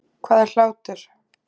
Hvað er hlátur?